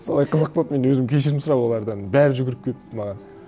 солай қызық болып мен де өзім кешірім сұрап олардан бәрі жүгіріп келіп маған